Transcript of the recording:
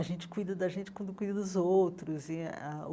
A gente cuida da gente quando cuida dos outros e eh ah.